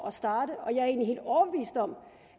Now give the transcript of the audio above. at starte og jeg er egentlig helt overbevist om